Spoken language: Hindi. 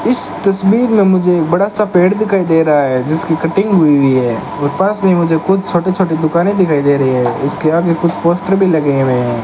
इस तस्वीर में मुझे एक बड़ा सा पेड़ दिखाई दे रहा है जिसकी कटिंग हुई है और पास में मुझे कुछ छोटे छोटे दुकाने दिखाई दे रही है इसके आगे कुछ पोस्टर भी लगे हुए हैं।